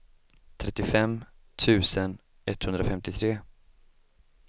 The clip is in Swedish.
trettiofem tusen etthundrafemtiotre